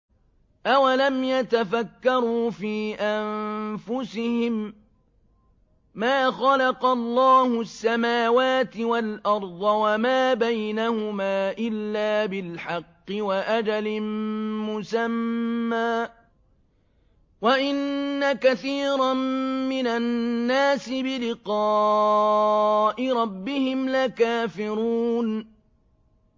أَوَلَمْ يَتَفَكَّرُوا فِي أَنفُسِهِم ۗ مَّا خَلَقَ اللَّهُ السَّمَاوَاتِ وَالْأَرْضَ وَمَا بَيْنَهُمَا إِلَّا بِالْحَقِّ وَأَجَلٍ مُّسَمًّى ۗ وَإِنَّ كَثِيرًا مِّنَ النَّاسِ بِلِقَاءِ رَبِّهِمْ لَكَافِرُونَ